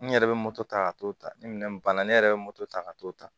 N yɛrɛ bɛ moto ta ka t'o ta ni minɛn banna ne yɛrɛ bɛ moto ta ka t'o ta